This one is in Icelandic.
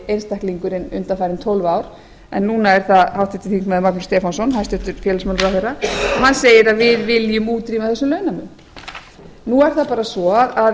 einstaklingurinn undanfarin tólf ár en núna er það háttvirtir þingmenn magnús stefánsson hæstvirts félagsmálaráðherra hann segir við viljum útrýma þessum launamun nú er það bara svo að